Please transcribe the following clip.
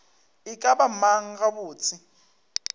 e ka ba mang gabotse